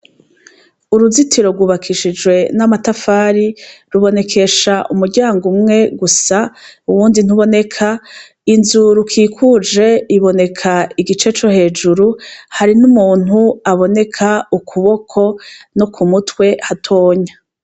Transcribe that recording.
Uruzitiro rwubakishijwe n'amatafari rubonekesha umuryango umwe gusa, uwundi ntuboneka, inzu rukikuje iboneka igice co hejuru hari n'umuntu aboneka ukuboko no ku mutwe hatonya.